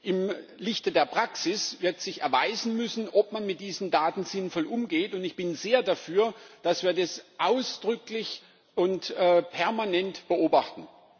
Im Lichte der Praxis wird sich erweisen müssen, ob man mit diesen Daten sinnvoll umgeht, und ich bin sehr dafür, dass wir das ausdrücklich und permanent beobachten.